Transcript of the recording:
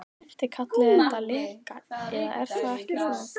Þið kallið þetta leka, eða er það ekki svo.